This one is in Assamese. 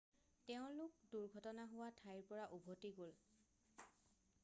তেওঁলোক দুৰ্ঘটনা হোৱা ঠাইৰ পৰা উভতি গ'ল